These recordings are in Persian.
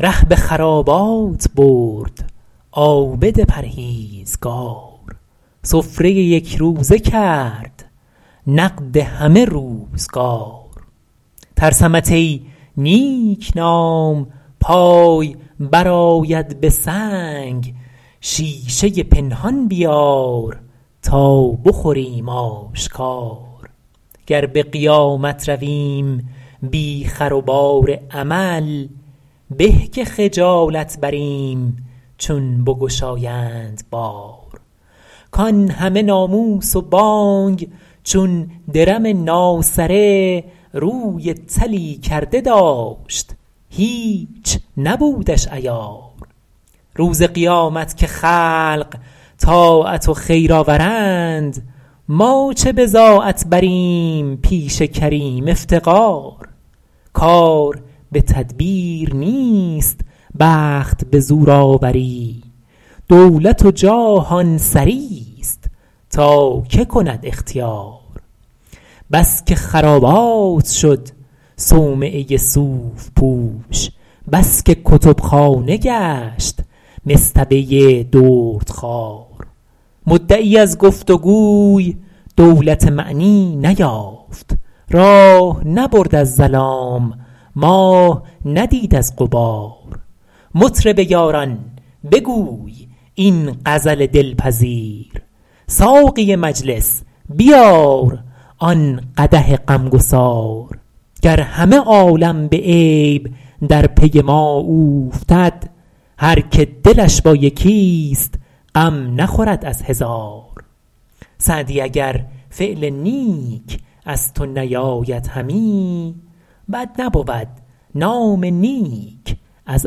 ره به خرابات برد عابد پرهیزگار سفره یکروزه کرد نقد همه روزگار ترسمت ای نیکنام پای برآید به سنگ شیشه پنهان بیار تا بخوریم آشکار گر به قیامت رویم بی خر و بار عمل به که خجالت بریم چون بگشایند بار کان همه ناموس و بانگ چون درم ناسره روی طلی کرده داشت هیچ نبودش عیار روز قیامت که خلق طاعت و خیر آورند ما چه بضاعت بریم پیش کریم افتقار کار به تدبیر نیست بخت به زور آوری دولت و جاه آن سریست تا که کند اختیار بس که خرابات شد صومعه صوف پوش بس که کتبخانه گشت مصطبه دردخوار مدعی از گفت و گوی دولت معنی نیافت راه نبرد از ظلام ماه ندید از غبار مطرب یاران بگوی این غزل دلپذیر ساقی مجلس بیار آن قدح غمگسار گر همه عالم به عیب در پی ما اوفتد هر که دلش با یکیست غم نخورد از هزار سعدی اگر فعل نیک از تو نیاید همی بد نبود نام نیک از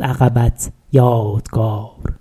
عقبت یادگار